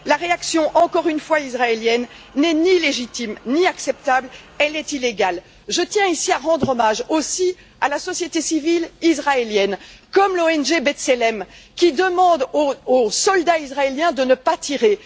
La réaction, encore une fois israélienne, n'est ni légitime ni acceptable, elle est illégale. Je tiens ici à rendre hommage aussi à la société civile israélienne comme l'ONG B'Tselem qui demande aux soldats israéliens de ne pas tirer.